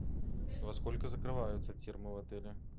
во сколько закрываются термы в отеле